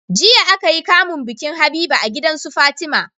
jiya akayi kamun bikin habiba a gidansu fatima